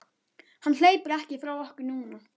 Hann hleypur ekki frá okkur núna.